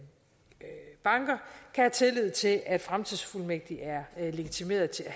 have tillid til at en fremtidsfuldmægtig er legitimeret til